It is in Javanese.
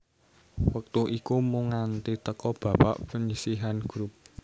Wektu iku mung nganti teka babak panyisihan grup